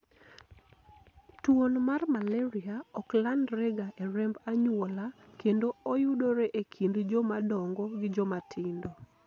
Tuon mar malaria ok landre ga e remb anyuola kendo oyudore e kind jomadongo gi joma tindo